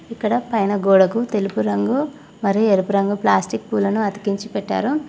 ఇక్కడ పైన గోడకు తెలుపు రంగు మరి ఎరుపు రంగు ప్లాస్టిక్ పూలను అతికించి పెట్టారు.